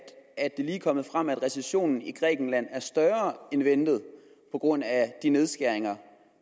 kommet frem at recessionen i grækenland er større end ventet på grund af de nedskæringer